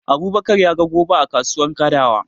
Abubakar ya ga goba a kasuwar Kadawa.